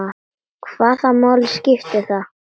Hvaða máli skiptir það?